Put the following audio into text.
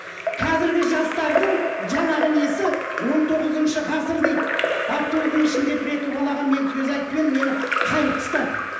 қазіргі жастардың жаңағы несі он тоғызыншы ғасыр дейді автобустың ішінде бір екі балаға мен сөз айтып едім мені қайырып тастады